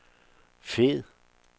fed